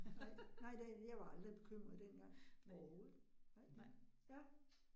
Nej, nej det jeg var aldrig bekymret dengang, overhovedet, nej, ja